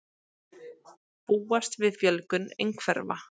Búast við fjölgun einhverfra